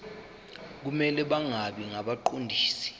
kumele bangabi ngabaqondisi